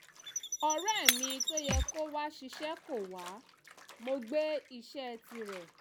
ọ̀rẹ́ mi tó yẹ kó wá ṣìṣe kò wá mo gbé iṣẹ́ tirẹ̀